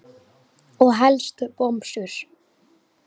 Og helst bomsur.